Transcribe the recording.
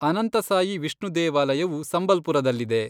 ಅನಂತಸಾಯಿ ವಿಷ್ಣು ದೇವಾಲಯವು ಸಂಬಲ್ಪುರದಲ್ಲಿದೆ.